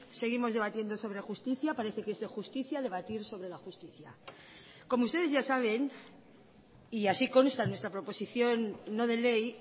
seguimos debatiendo sobre justicia parece que es de justicia debatir sobre la justicia como ustedes ya saben y así consta en nuestra proposición no de ley